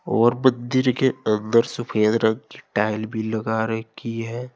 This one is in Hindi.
और मंदिर के अंदर सफेद रंग की टाइल भी लगा रखी है।